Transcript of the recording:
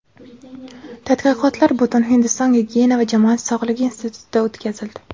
Tadqiqotlar Butunhindiston gigiyena va jamoat sog‘lig‘i institutida o‘tkazildi.